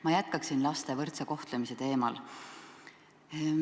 Ma jätkan laste võrdse kohtlemise teemal.